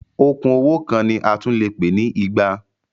Okùn owó kan ni a tún lè pè ní igba.